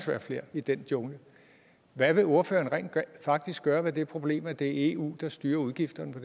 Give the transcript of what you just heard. være flere i den jungle hvad vil ordføreren rent faktisk gøre ved det problem at det er eu der styrer udgifterne på